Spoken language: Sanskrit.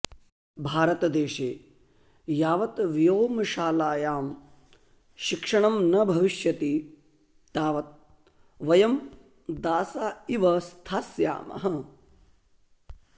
भारतदेशे यावत् व्योमशालायां शिक्षणं न भविष्यति तावत् वयं दासा इव स्थास्यामः